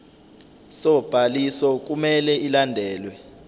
sobhaliso kumele ilandelwe